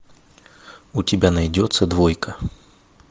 у тебя найдется двойка